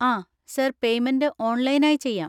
ആ, sir payment online ആയി ചെയ്യാം.